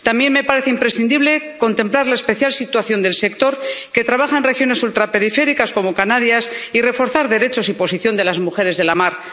También me parece imprescindible contemplar la especial situación del sector que trabaja en regiones ultraperiféricas como Canarias y reforzar los derechos y la posición de las mujeres de la mar.